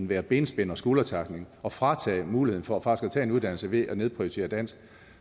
være benspænd og skuldertackling at fratage muligheden for faktisk at tage en uddannelse ved at nedprioritere dansk